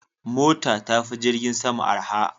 Mota tafi jirgin sama arha.